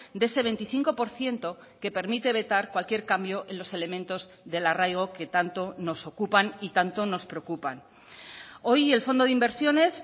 de ese veinticinco por ciento que permite vetar cualquier cambio en los elementos del arraigo que tanto nos ocupan y tanto nos preocupan hoy el fondo de inversiones